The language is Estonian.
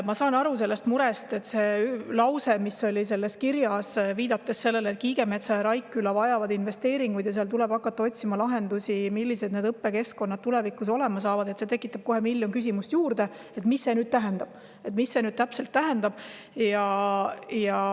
Ma saan aru sellest murest, et see lause, mis oli selles kirjas ja mis viitas sellele, et Kiigemetsa ja Raikküla vajavad investeeringuid ja nende puhul tuleb hakata otsima lahendusi, millised need õppekeskkonnad tulevikus hakkavad olema, tekitab kohe miljon küsimust juurde, et mida see täpselt tähendab.